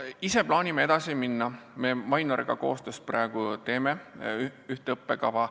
Ise plaanime edasi minna nii, et me Mainoriga koostöös praegu teeme ühte õppekava.